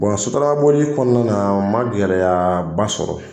Sotarama boli kɔnɔna na, n ma gɛlɛya ba sɔrɔ .